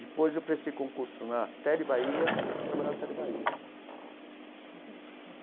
Depois eu prestei concurso na Tele Bahia e fui trabalhar na Tele Bahia.